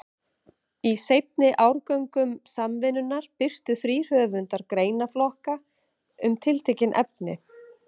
Í seinni árgöngum Samvinnunnar birtu þrír höfundar greinaflokka um tiltekin efni.